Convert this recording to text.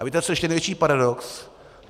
A víte, co je ještě největší paradox?